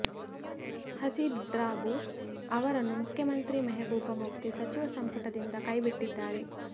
ಹಸೀಬ್ ಡ್ರಾಬು ಅವರನ್ನು ಮುಖ್ಯಮಂತ್ರಿ ಮೆಹಬೂಬ ಮುಫ್ತಿ ಸಚಿವ ಸಂಪುಟದಿಂದ ಕೈಬಿಟ್ಟಿದ್ದಾರೆ